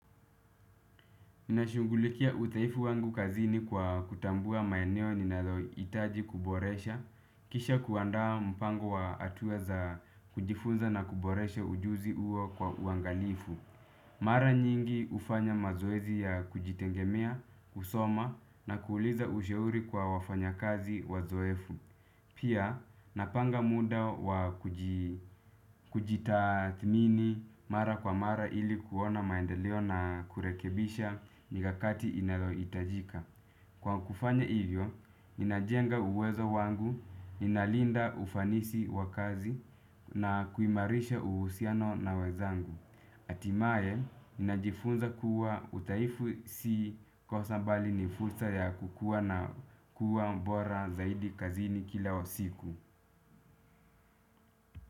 Mi nashungulikia udhaifu wangu kazini kwa kutambua maeneo ninaloitaji kuboresha. Kisha kuandaa mpango wa atua za kujifunza na kuboresha ujuzi uo kwa uangalifu. Mara nyingi ufanya mazoezi ya kujitegemea, kusoma na kuuliza ushauri kwa wafanya kazi wazoefu. Pia napanga muda wa kujitathmini mara kwa mara ili kuona maendeleo na kurekebisha mikakati inaloitajika. Kwa kufanya hivyo, inajenga uwezo wangu, inalinda ufanisi wakazi na kuimarisha uhusiano na wenzangu. Atimae, ninajifunza kuwa uthaifu si kosa bali ni fursa ya kukuwa na kuwa bora zaidi kazini kila wa siku.